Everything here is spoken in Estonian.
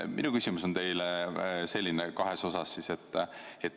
Minu küsimus teile on kahes osas.